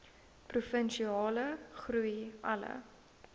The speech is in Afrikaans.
provinsiale groei alle